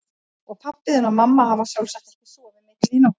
Og pabbi þinn og mamma hafa sjálfsagt ekki sofið mikið í nótt.